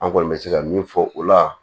An kɔni bɛ se ka min fɔ o la